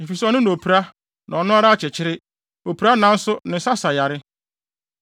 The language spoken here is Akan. Efisɛ ɔno na opira na ɔno ara akyekyere; opira nanso ne nsa sa yare.